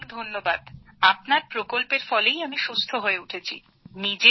অনেক অনেক ধন্যবাদ আপনার প্রকল্পের ফলে আমি সুস্থ হয়ে উঠেছি